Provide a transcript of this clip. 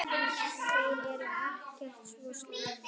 Þeir eru ekkert svo slæmir.